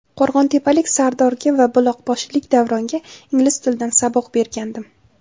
Qo‘rg‘ontepalik Sardorga va buloqboshilik Davronga ingliz tilidan saboq bergandim.